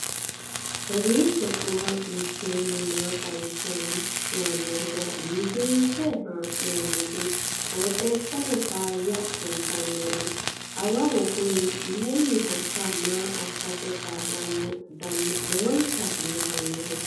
kowiicho xuma mtini maa xawissanno yaannohura biifinse haa'noonniti qooxeessano faayya kultannori awawu kuni maynnihoiikka maa assate kaa'lannoho dana lowonta biifannoho